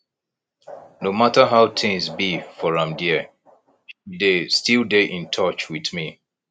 no mata how tins be for am there she dey still dey in touch with me